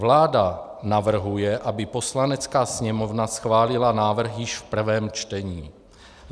Vláda navrhuje, aby Poslanecká sněmovna schválila zákon již v prvém čtení.